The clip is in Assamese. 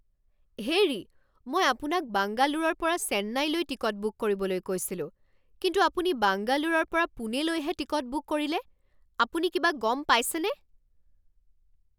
হেৰি! মই আপোনাক বাংগালোৰৰ পৰা চেন্নাইলৈ টিকট বুক কৰিবলৈ কৈছিলোঁ কিন্তু আপুনি বাংগালোৰৰ পৰা পুনেলৈহে টিকট বুক কৰিলে। আপুনি কিবা গম পাইছেনে?